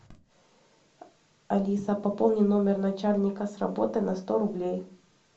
алиса пополни номер начальника с работы на сто рублей